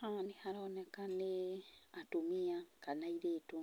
Haha nĩ haroneka nĩ atumia kana aĩrĩtu